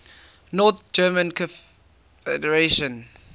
north german confederation